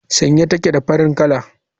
Sanye take da farin kala.